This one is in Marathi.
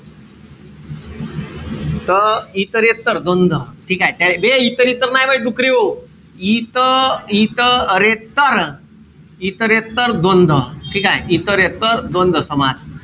त इतरेत्तर द्वंद्व. ठीकेय? बे इतर-इतर नाई बे डुकरेहो. इत इत रेत्तर इतरेत्तर द्वंद्व. ठीकेय? इतरेत्तर द्वंद्व समास.